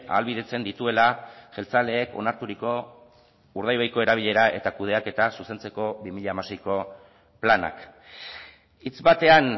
ahalbidetzen dituela jeltzaleek onarturiko urdaibaiko erabilera eta kudeaketa zuzentzeko bi mila hamaseiko planak hitz batean